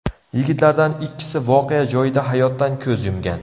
Yigitlardan ikkisi voqea joyida hayotdan ko‘z yumgan.